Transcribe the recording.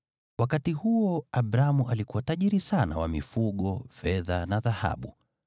Wakati huo Abramu alikuwa tajiri sana wa mifugo, fedha na dhahabu.